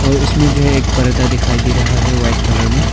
और इसमें जो है एक पर्दा दिखाई दे रहा है वाइट कलर में।